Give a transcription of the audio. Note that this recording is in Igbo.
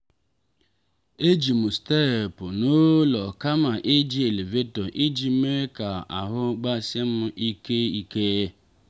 e ji m steepụ n'ụlọ kama iji elevator iji mee ka ahụ gbasim ike ike.